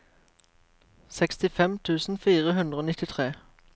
sekstifem tusen fire hundre og nittitre